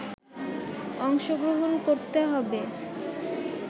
অংশগ্রহণ করতে হবে